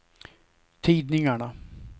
tidningarna